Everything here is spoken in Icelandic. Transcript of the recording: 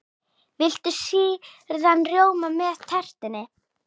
Viltu sýrðan rjóma með tertunni?